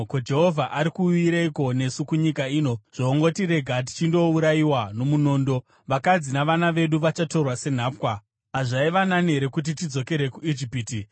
Ko, Jehovha ari kuuyireiko nesu kunyika ino zvoongotirega tichindourayiwa nomunondo? Vakadzi navana vedu vachatorwa senhapwa. Hazvaiva nani here kuti tidzokere kuIjipiti?”